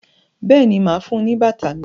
béèni má fún ní bàtà mí.